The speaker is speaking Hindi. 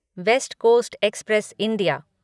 waste coast express India